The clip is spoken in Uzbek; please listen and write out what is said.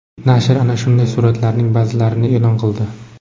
Nashr ana shunday suratlarning ba’zilarini e’lon qildi.